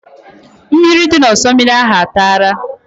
Mmiri dị n'osimiri ahụ a tara?